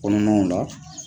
Kɔminiw la